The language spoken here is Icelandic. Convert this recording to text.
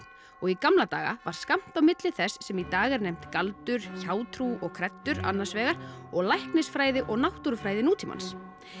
og í gamla daga var skammt á milli þess sem í dag er nefnt galdur hjátrú og kreddur annars vegar og læknisfræði og náttúrufræði nútímans